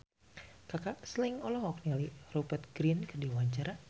Kaka Slank olohok ningali Rupert Grin keur diwawancara